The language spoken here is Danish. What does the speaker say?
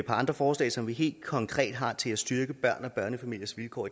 andre forslag som vi helt konkret har til at styrke børns og børnefamiliers vilkår